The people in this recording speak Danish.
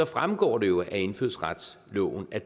fremgår det jo af indfødsretsloven at